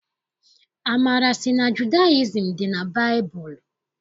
Amara sị na Judayizim dị na baịbụlụ.